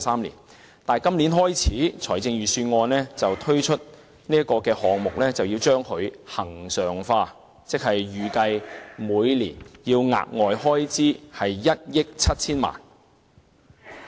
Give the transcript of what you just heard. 然而，本年度的財政預算案建議，自今年起，將這項交流計劃恆常化，預計每年額外開支為1億 7,000 萬元。